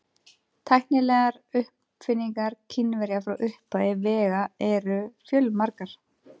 Tæknilegar uppfinningar Kínverja frá upphafi vega eru fjölmargar.